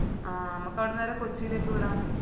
ആഹ് നമക്ക് അവിടന്ന് നേരെ കൊച്ചിലേക്ക് വിടാ